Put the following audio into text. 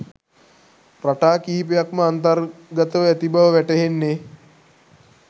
රටා කිහිපයක් ම අන්තර්ගත ව ඇති බව වැටහෙන්නේ